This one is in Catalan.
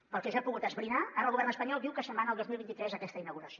pel que jo he pogut esbrinar ara el govern espanyol diu que se’n va al dos mil vint tres aquesta inauguració